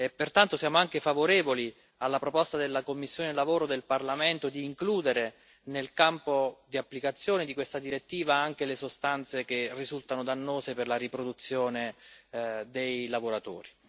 Pertanto siamo anche favorevoli alla proposta della commissione EMPL del Parlamento di includere nel campo di applicazione di questa direttiva anche le sostanze che risultano dannose per la riproduzione dei lavoratori.